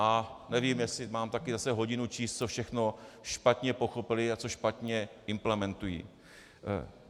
A nevím, jestli mám také zase hodinu číst, co všechno špatně pochopili a co špatně implementují.